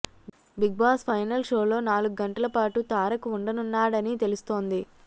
big Boss final షోలో నాలుగు గంటలపాటు తారక్ ఉండనున్నాడని తెలుస్తోంది